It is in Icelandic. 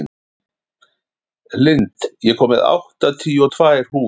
Lind, ég kom með áttatíu og tvær húfur!